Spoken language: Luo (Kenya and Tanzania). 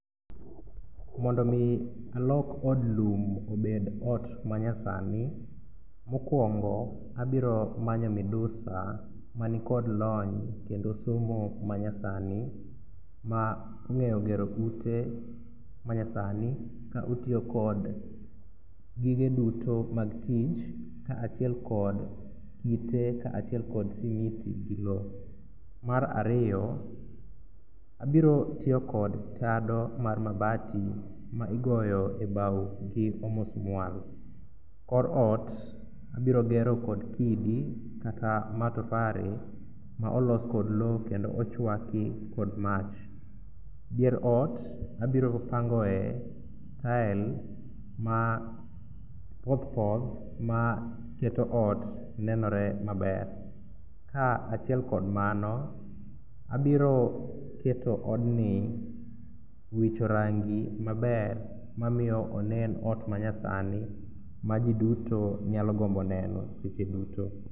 Mondo omi alok od lum obed ot manyasani, mokwongo abiro manyo midusa manikod lony kendo somo manyasani ma ng'eyo gero ute manyasani ka otiyo kod gige duto mag tich kaachiel kod kite kaachiel kod smiti gi lo. Mar arfiyo, abirotiyo kod tado mar mabati ma igoyo e bao gi omusmual. Kor ot abirogero kod kidi kata matofare maolos kod lo kendo ochwaki kod mach. Dier ot abiropangoe tile ma pothpoth maketo ot nenore maber. Kaachiel kod mano, abiro keto odni wicho rangi maber mamiyo onen ot manyasni ma ji duto nyalo gombo neno seche duto.